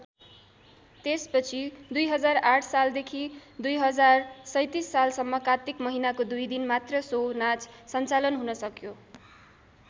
त्यसपछि २००८ सालदेखि २०३७ सालसम्म कात्तिक महिनाको दुई दिन मात्र सो नाच सञ्चालन हुन सक्यो।